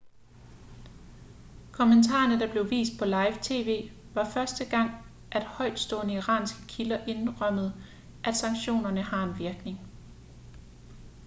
kommentarerne der blev vist på live tv var første gang at højtstående iranske kilder indrømmede at sanktionerne har en virkning